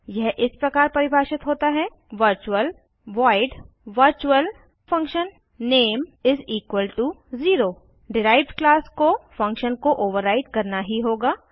यह इस प्रकार परिभाषित होता है virtual void virtualfunname0 derived class को फंक्शन को ओवर्राइड करना ही होगा